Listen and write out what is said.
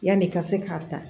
Yanni i ka se k'a ta